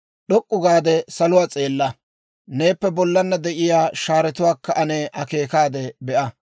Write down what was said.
«D'ok'k'u gaade salotuwaa s'eella; neeppe bollaanna de'iyaa shaaretuwaakka ane akeekaade be'a.